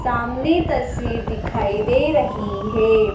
सामने तस्वीर दिखाई दे रही है।